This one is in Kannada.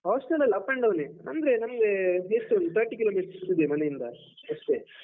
Hostel ಅಲ್ಲ up and down ನೇ ಅಂದ್ರೆ ನಮ್ಗೆ ಎಷ್ಟು ಒಂದ್ thirty kilo meter ಇರುದು ಮನೆ ಇಂದ ಅಷ್ಟೇ.